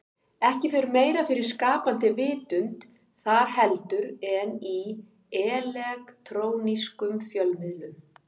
Ekki fer meira fyrir skapandi vitund þar heldur en í elektrónískum fjölmiðlum.